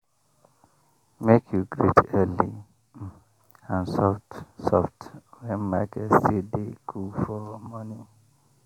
make you greet early um and soft soft when market still dey coole for morning.